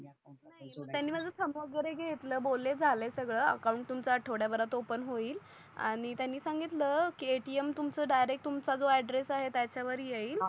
Thumb वगेरे घेतल बोले झालय सगड अकाउन्ट तुमचा आठवड्या भरात ओपेन होईल आणि त्यांनी सांगितल की ATM तुमच डायरेक्ट तुमच्या जो एड्रेस आहे त्याच्या वर येईल.